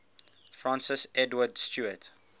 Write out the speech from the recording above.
francis edward stuart